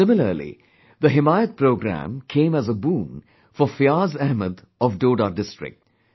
Similarly, the 'Himayat Programme' came as a boon for Fiaz Ahmad of Doda district